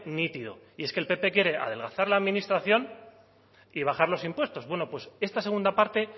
nítido y es que el pp quiere adelgazar la administración y bajar los impuestos bueno pues esta segunda parte